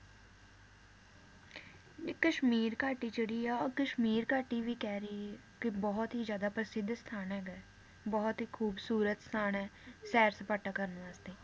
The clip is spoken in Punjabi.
ਤੇ ਕਸ਼ਮੀਰ ਘਾਟੀ ਜਿਹੜੀ ਆ ਉਹ ਕਸ਼ਮੀਰ ਘਾਟੀ ਵੀ ਕਹਿ ਰਹੇ ਕਿ ਬਹੁਤ ਹੀ ਜ਼ਿਆਦਾ ਪ੍ਰਸਿੱਧ ਸਥਾਨ ਹੈਗਾ ਏ ਬਹੁਤ ਈ ਖੂਬਸੂਰਤ ਸਥਾਨ ਏ ਸੈਰ ਸਪਾਟਾ ਕਰਨ ਵਾਸਤੇ